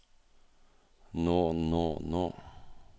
nå nå nå